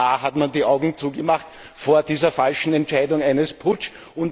Auch da hat man die Augen zugemacht vor dieser falschen Entscheidung eines Putsches.